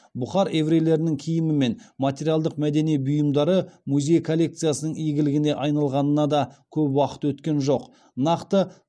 бұхар еврейлерінің киімі мен материалдық мәдени бұйымдары музей коллекциясының игілігіне айналғанына да көп уақыт өткен жоқ нақты